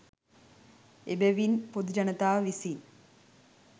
එබැවින් පොදු ජනතාව විසින්